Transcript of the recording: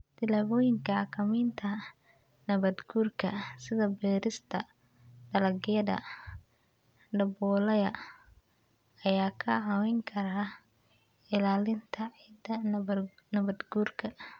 Tallaabooyinka xakamaynta nabaadguurka, sida beerista dalagyada daboolaya, ayaa kaa caawin kara ilaalinta ciidda nabaadguurka.